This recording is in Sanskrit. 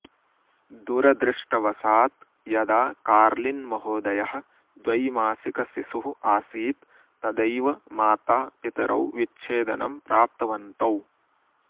दुरदृष्टवशात् यदा कार्लिन् महोदयः द्वैमासिक शिशुः आसीत् तदैव माता पितरौ विच्छेदनं प्राप्तवन्तौ